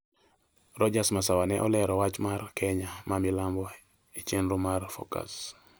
Rodgers Masawa ne olero wach mar Kenya ma Milambo e chenro mar Focus